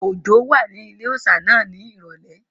Òjó wà ní ilé-òòsà náà ní ìrọ̀lẹ́